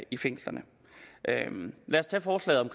i fængslerne lad os tage forslaget om